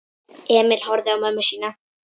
Emil horfði á mömmu sína.